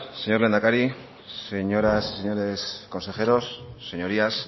señor lehendakari señoras y señores consejeros señorías